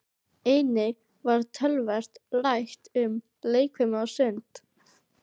Einnig var töluvert rætt um leikfimi og sund.